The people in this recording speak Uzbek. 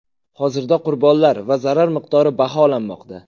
Hozirda qurbonlar va zarar miqdori baholanmoqda.